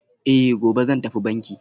Eh, gobe zan tafi banki